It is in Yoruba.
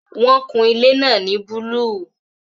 Wọn kun ilé náà ní búlúù